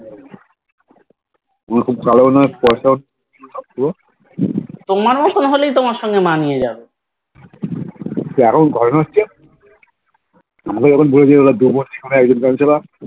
তোমার মতন হলেই তোমার সঙ্গে মানিয়ে যাবে